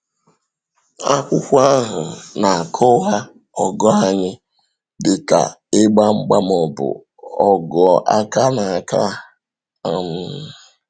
Akwụkwọ ahụ na-akọwa ọgụ anyị dịka “ịgba mgba,” ma ọ bụ ọgụ aka na aka. um